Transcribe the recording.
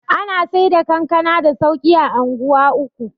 ana Saida kankana da sauki a unguwa uku